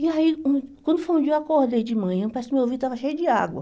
E aí, quando quando foi um dia, eu acordei de manhã, parece que meu ouvido estava cheio de água.